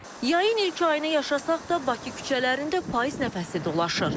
Yayın ilk ayını yaşasaq da, Bakı küçələrində payız nəfəsi dolaşır.